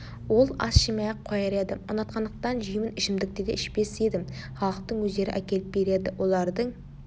ол ас жемей-ақ қояр едім ұнатқандықтан жеймін ішімдікті де ішпес едім халықтың өздері әкеліп береді олардың